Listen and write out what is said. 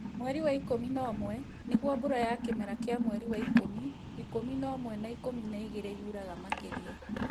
Mweri wa ikũmi na ũmwe nĩguo mbura ya kĩmera kĩa mweri wa ikumi, ikumi na ũmwe na Ikumi na igĩrĩ yuraga makĩria